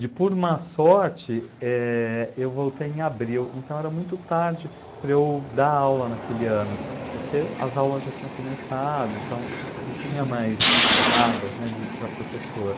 De por má sorte, eh, eu voltei em abril, então era muito tarde para eu dar aula naquele ano, porque as aulas já tinham começado, então não tinha mais vagas, né, de, para professor.